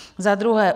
Za druhé.